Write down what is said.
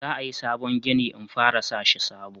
za a yi sabon gini in fara sashi sabo